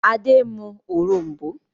Adé ń mú òrom̀bó.